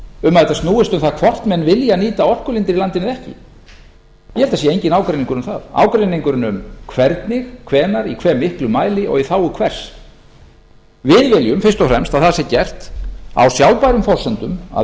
um að þetta snúist um það hvort menn vilji nýta orkulindir í landinu eða ekki ég held að það sé enginn ágreiningur um það ágreiningurinn um hvernig hvenær í hve miklum mæli og í þágu hvers við viljum fyrst og fremst að það sé gert á sjálfbærum forsendum að